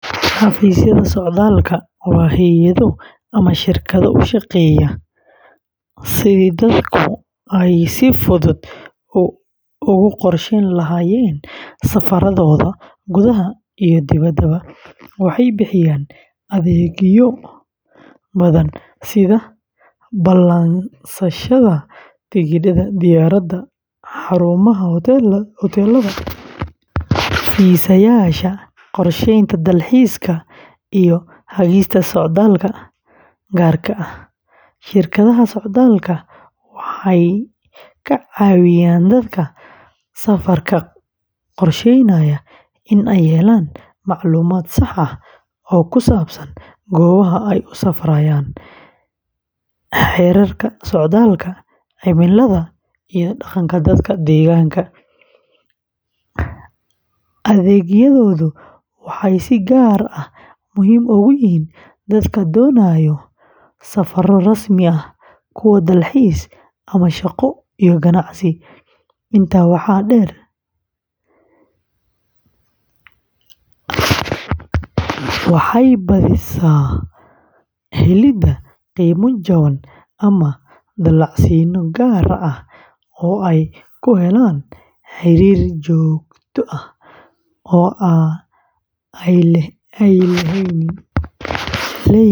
Xafiisyada socdaalka waa hay’ado ama shirkado u shaqeeya sidii dadku ay si fudud ugu qorsheyn lahaayeen safarradooda gudaha iyo dibaddaba. Waxay bixiyaan adeegyo badan sida ballansashada tigidhada diyaaradaha, xarumaha hoteellada, fiisayaasha, qorsheynta dalxiiska, iyo hagista socdaallada gaarka ah. Shirkadaha socdaalka waxay ka caawiyaan dadka safarka qorsheynaya in ay helaan macluumaad sax ah oo ku saabsan goobaha ay u safrayaan, xeerarka socdaalka, cimilada, iyo dhaqanka dadka deegaanka. Adeegyadoodu waxay si gaar ah muhiim ugu yihiin dadka doonaya safarro rasmi ah, kuwa dalxiis, ama shaqo iyo ganacsi. Intaa waxaa dheer, ayaa badiya helidda qiimo jaban ama dallacsiinno gaar ah oo ay ku helaan xiriir joogto ah oo ay la leeyihiin shirkadaha diyaaradaha iyo hoteellada.